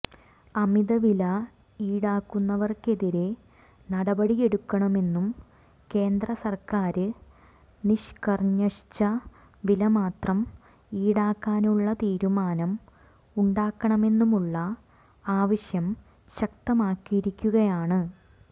അമിതവില ഈടാക്കുന്നവര്ക്കെതിരെ നടപടിയെടുക്കണമെന്നും കേന്ദ്ര സര്ക്കാര് നിഷ്കര്ഞഷിച്ച വിലമാത്രം ഈടാക്കാനുളള തീരുമാനം ഉണ്ടാക്കണമെന്നുമുളള ആവശ്യം ശക്തമായിരിക്കുകയാണ്